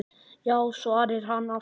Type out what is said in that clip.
Já svarar hann aftur.